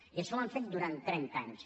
i això ho han fet durant trenta anys